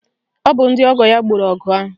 Ọ bụ ndị ọgọ ya gboro ọgụ ahụ